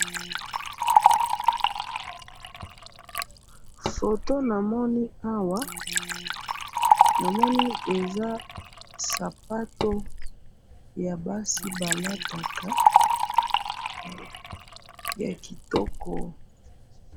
foto namoni awa ,namoni eza sapato ya basi balataka ya kitoko.